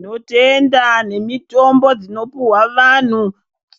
Tinotendaa nemitombo dzinopihwa vanhu,